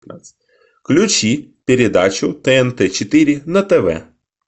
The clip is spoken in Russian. включи передачу тнт четыре на тв